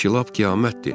Bu ki lap qiyamətdir.